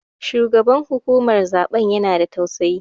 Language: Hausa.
Shugaban hukumar zaɓen ya na da tausayi